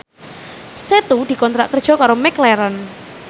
Setu dikontrak kerja karo McLarren